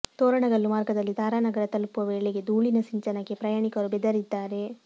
ತೋರಣಗಲ್ಲು ಮಾರ್ಗದಲ್ಲಿ ತಾರಾನಗರ ತಲುಪುವ ವೇಳೆಗೆ ಧೂಳಿನ ಸಿಂಚನಕ್ಕೆ ಪ್ರಯಾಣಿಕರು ಬೆದರಿದ್ದಾರೆ